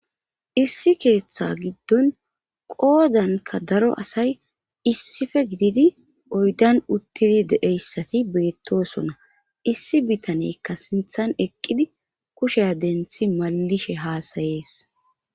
issi keeththa giddon qoodanka daro asay issife gididi oydan uttidi deeyssati beettosona issi bitaneykka sinthan eqqidi kushe denthi mallishe haasayees